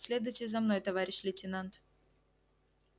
следуйте за мной товарищ лейтенант